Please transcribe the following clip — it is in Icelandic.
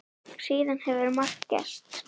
Síðan hefur margt gerst.